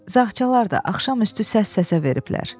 Zağçalar da axşam üstü səs-səsə veriblər.